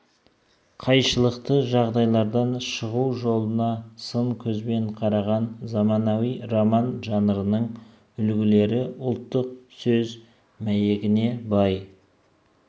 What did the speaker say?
қайшылықты жағдайлардан шығу жолына сын көзбен қараған заманауи роман жанрының үлігілері ұлттың сөз мәйегіне бай